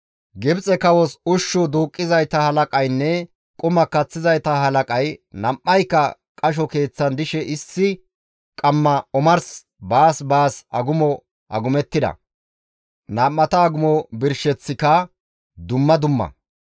Gibxe kawos ushshu duuqqizayta halaqaynne quma kaththizayta halaqay, nam7ayka qasho keeththan dishe issi qamma omars baas baas agumo agumettida. Nam7ata agumo birsheththika dumma dumma.